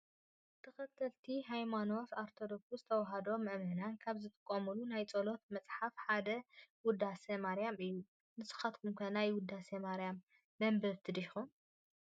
ተክተልቲ ሃይማኖት አርቶዶክስ ተዋህዶ መእመናት ካብ ዝጥቀምሉ ናይ ፀሎት መፅሓፋት ሓደ ውዳሴ ማርያም እዩ ።ንስካትኩም ከ ናይ ውዳሴ ማርያም መንበብቲ ዲኩም?